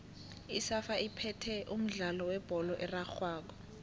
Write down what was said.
isafa iphethe umdlalo webholo erarhwako